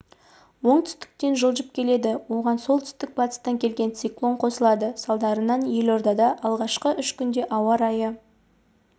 оңтүстіктен жылжып келеді оған солтүстік-батыстан келген циклон қосылады салдарынан елордада алдағы үш күнде күн райы